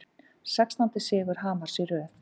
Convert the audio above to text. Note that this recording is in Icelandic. Sextándi sigur Hamars í röð